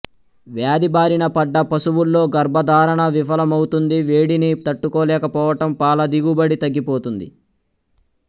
వ్యాధిబారిన పడ్డ పశువుల్లో గర్భధారణ విఫలమవుతుంది వేడిని తట్టుకోలేకపోవటం పాలదిగుబడి తగ్గిపోతుంది